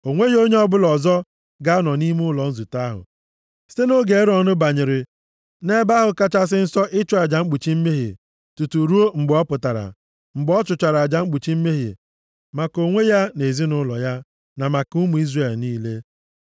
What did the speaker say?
O nweghị onye ọbụla ọzọ ga-anọ nʼime ụlọ nzute ahụ, site nʼoge Erọn banyere nʼEbe ahụ Kachasị Nsọ ịchụ aja mkpuchi mmehie tutu ruo mgbe ọ pụtara, mgbe ọ chụchara aja mkpuchi mmehie maka onwe ya na ezinaụlọ ya, na maka ụmụ Izrel niile.